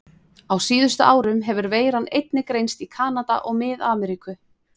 Á síðustu árum hefur veiran einnig greinst í Kanada og Mið-Ameríku.